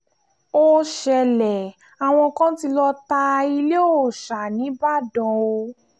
ó ṣẹlẹ̀ àwọn kan tí lóò ta ilẹ̀ òòsa nibodàn o